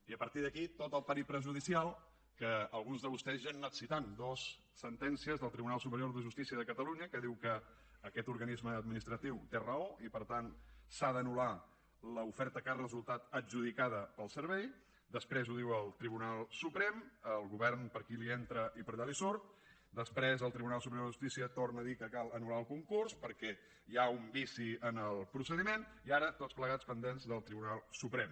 i a partir d’aquí tot el periple judicial que alguns de vostès ja han anat citant dues sentències del tribunal superior de justícia de catalunya que diu que aquest organisme administratiu té raó i per tant s’ha d’anul·lar l’oferta que ha resultat adjudicada per al servei després ho diu el tribunal suprem al govern per aquí li entra i per allà li surt després el tribunal superior de justícia torna a dir que cal anul·lar el concurs perquè hi ha un vici en el procediment i ara tots plegats pendents del tribunal suprem